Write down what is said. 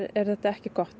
er þetta ekki gott